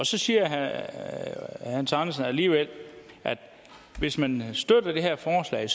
så siger herre hans andersen alligevel at hvis man støtter det her forslag er